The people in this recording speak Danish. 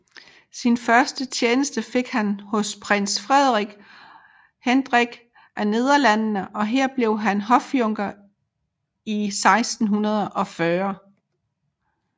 Sin første tjeneste fik han hos prins Frederik Hendrik af Nederlandene og her blev han hofjunker i 1640